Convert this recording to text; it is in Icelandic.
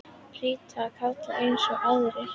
Ég hlýði kalli eins og aðrir.